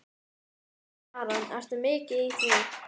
Hersir Aron: Ertu mikið í því?